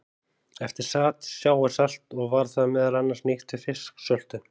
Eftir sat sjávarsalt og var það meðal annars nýtt við fisksöltun.